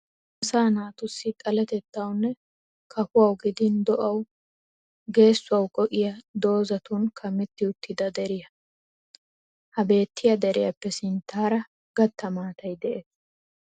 Asaa naatussi xaletettawu nne kafuwawu gidin do'awu geessuwawu go''iya doozatun kamettidi uttida deriya. Ha beettiya deriyappe sinttaara gatta maatay de'es.